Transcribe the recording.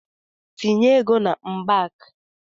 Tinye ego na mbak!